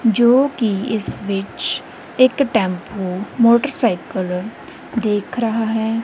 ਜੋ ਕਿ ਇਸ ਵਿੱਚ ਇੱਕ ਟੈਂਪੂ ਮੋਟਰਸਾਈਕਲ ਦੇਖ ਰਹਾ ਹੈ।